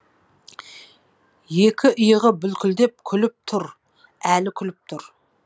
екі иығы бүлкілдеп күліп түр әлі күліп түр